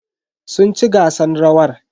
Sun ci gasan rawan.